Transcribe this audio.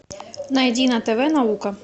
найди на тв наука